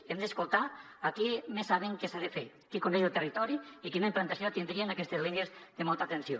hem d’escoltar els qui més saben què s’ha de fer qui coneix el territori i quina implantació tindrien aquestes línies de molt alta tensió